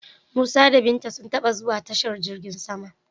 Musa da Binta sun taba zuwa tashar jirgin sama.